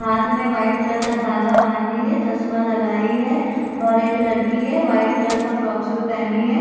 हाथ में white colour का धागा बांधी है चश्मा लगाई हैऔर एक लड़की है वाइट कलर का फ्रॉक सूट पहनी है।